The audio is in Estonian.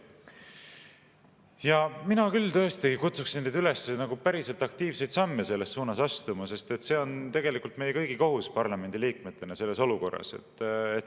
Ja mina tõesti kutsuksin teid üles päriselt aktiivseid samme selles suunas astuma, sest see on tegelikult meie kõigi kohus parlamendiliikmetena selles olukorras.